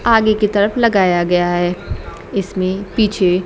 आगे की तरफ लगाया गया है इसमें पीछे--